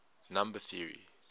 number theory